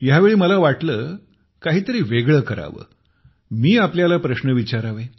ह्या वेळी मला वाटले काहीतरी वेगळे करावे मी आपल्याला प्रश्न विचारावे